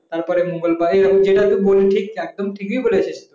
তারপরে মঙ্গলবার এরকম যেটা তো বললি ঠিক একদম ঠিক বলেছিস